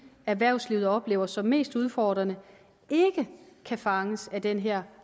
erhvervslivet oplever som mest udfordrende ikke kan fanges af den her